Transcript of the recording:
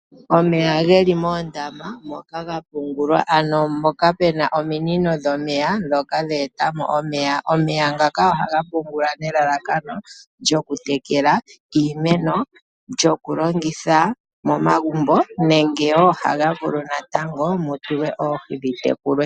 Omeya ge li moondama moka ga pungulwa ano mpoka pu na ominino dhomeya ndhoka dhe eta mo omeya. Omeya ngaka ohaga pungulwa nelalakano lyokutekela iimeno, lyokulongitha momagumbo nenge woo ohaga vulu natango mu tulwe oohi dhi tekulwe.